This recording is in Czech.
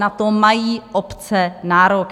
Na to mají obce nárok!